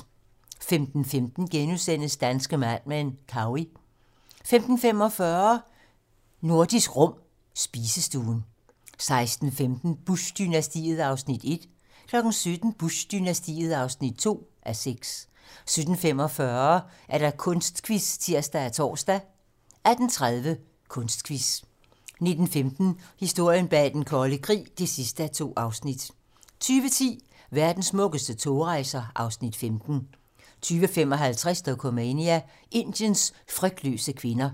15:15: Danske Mad Men: Cowey * 15:45: Nordisk Rum - spisestuen 16:15: Bush-dynastiet (1:6) 17:00: Bush-dynastiet (2:6) 17:45: Kunstquiz (tir og tor) 18:30: Kunstquiz 19:15: Historien bag den kolde krig (2:2) 20:10: Verdens smukkeste togrejser (Afs. 15) 20:55: Dokumania: Indiens frygtløse kvinder